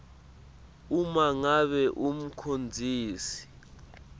uma ngabe umcondzisi